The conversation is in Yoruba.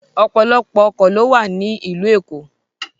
Ọ́pọlọpọ ọ́kọ ló wa ni ilu Eko